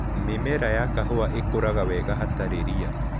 Mĩmera ya kahũa ĩkũraga wega hatari ria.